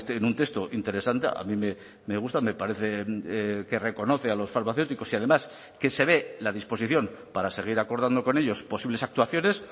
en un texto interesante a mí me gusta me parece que reconoce a los farmacéuticos y además que se ve la disposición para seguir acordando con ellos posibles actuaciones